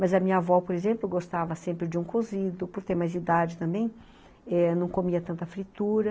Mas a minha avó, por exemplo, gostava sempre de um cozido, por ter mais idade também, não comia tanta fritura.